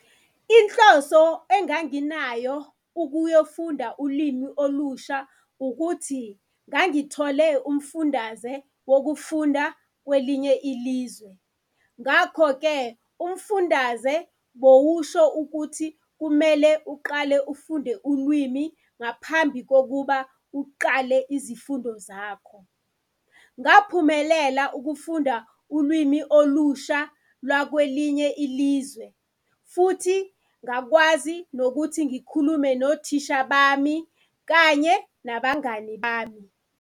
Inhloso enganginayo ukuyofunda ulimi olusha ukuthi ngangithole umfundaze wokufunda kwelinye ilizwe. Ngakho-ke, umfundaze bowusho ukuthi kumele uqale ufunde ulwimi ngaphambi kokuba uqale izifundo zakho. Ngaphumelela ukufunda ulwimi olusha lakwelinye ilizwe, futhi ngakwazi nokuthi ngikhulume nothisha bami kanye nabangani bami.